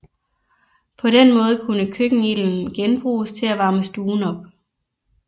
På den måde kunne køkkenilden genbruges til at varme stuen op